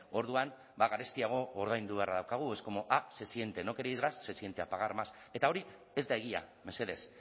orduan ba garestiago ordaindu beharra daukagu es como ah se siente no queréis gas se siente a pagar más eta hori ez da egia mesedez